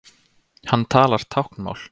Hann talar táknmál.